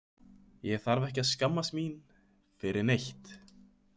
Ég þarf ekki að skammast mín fyrir neitt.